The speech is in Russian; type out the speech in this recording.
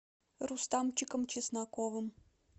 рустамчиком чесноковым